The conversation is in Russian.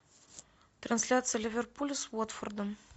трансляция ливерпуль с уотфордом